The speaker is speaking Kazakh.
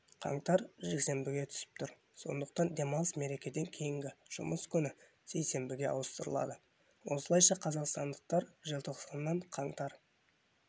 қаңтар жексенбіге түсіп тұр сондықтан демалыс мерекеден кейінгі жұмыс күні сейсенбіге ауыстырылады осылайша қазақстандықтар желтоқсаннан қаңтар